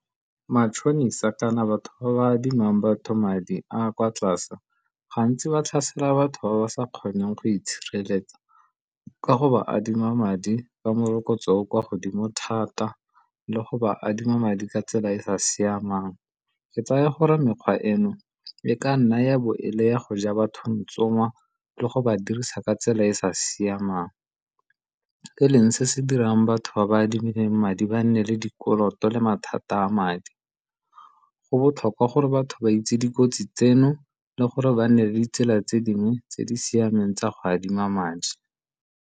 Matšhonisa kana batho ba adimang batho madi a kwa tlase gantsi ba tlhasela batho ba ba sa kgoneng go itshireletsa ka go ba adima madi ka morokotso o o kwa godimo thata le go ba adima madi ka tsela e e sa siamang. Ke tsaya gore mekgwa eno e ka nna ya bo e le ya go ja batho ntsoma le go ba dirisa ka tsela e e sa siamang, e leng se se dirang batho ba ba adimileng madi di ba nne le dikoloto le mathata a madi. Go botlhokwa gore batho ba itse dikotsi tseno le gore ba nne le ditsela tse dingwe tse di siameng tsa go adima madi.